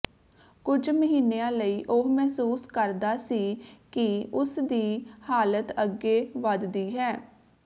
ਕੁਝ ਮਹੀਨਿਆਂ ਲਈ ਉਹ ਮਹਿਸੂਸ ਕਰਦਾ ਸੀ ਕਿ ਉਸ ਦੀ ਹਾਲਤ ਅੱਗੇ ਵਧਦੀ ਹੈ